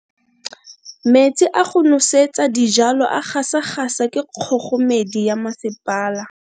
Metsi a go nosetsa dijalo a gasa gasa ke kgogomedi ya masepala.